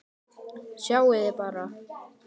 Sjáiði bara!